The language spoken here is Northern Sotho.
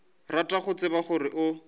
rata go tseba gore o